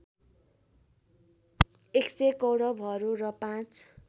१०० कौरवहरू र पाँच